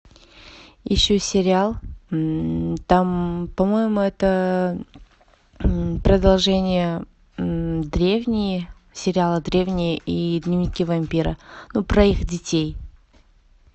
ищу сериал там по моему это продолжение древние сериала древние и дневники вампира ну про их детей